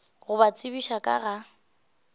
go ba tsebiša ka ga